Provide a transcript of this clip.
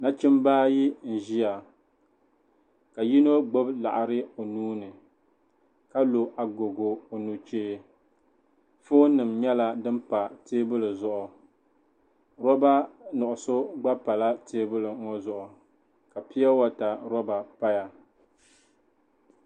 Nachimba ayi n-ʒiya ka yino gbubi laɣiri o nuu ni ka lo agogo o nuchee foonima nyɛla din pa teebuli zuɣu roba nuɣuso gba pala teebuli ŋɔ zuɣu ka piyowata roba paya.